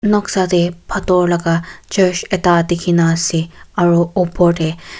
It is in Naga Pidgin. noksa te pathor laga church ekta dikhi na ase aro opor te--